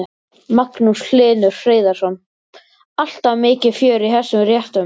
Magnús Hlynur Hreiðarsson: Alltaf mikið fjör í þessum réttum?